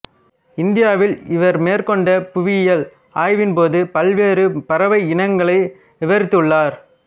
இந்தியாவில் இவர் மேற்கொண்ட புவியியல் ஆய்வின்போது பல்வேறு பறவை இனங்களை விவரித்துள்ளார்